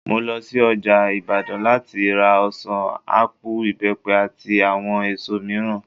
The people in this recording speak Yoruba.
Mo lo sí ọjà Ìbàdàn láti ra ọ̀sàn, ápù, ìbẹ́pẹ, àti àwọn èso mìíràn